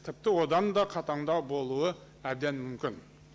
тіпті одан да қатаңдау болуы әден мүмкін